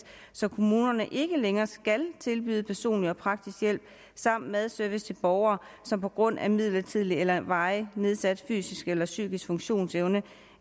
så kommunerne ikke længere skal tilbyde personlig og praktisk hjælp samt madservice til borgere som på grund af midlertidigt eller varigt nedsat fysisk eller psykisk funktionsevne